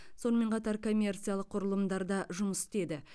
сонымен қатар коммерциялық құрылымдарда жұмыс істеді